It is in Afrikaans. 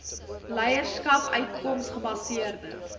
leierskap uitkoms gebaseerde